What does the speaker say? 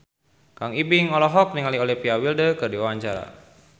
Kang Ibing olohok ningali Olivia Wilde keur diwawancara